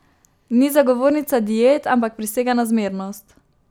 Ni zagovornica diet, ampak prisega na zmernost.